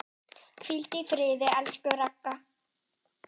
Hvíldu í friði, elsku Ragga.